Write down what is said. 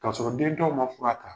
K'a sɔrɔ dentɔw man fura ta.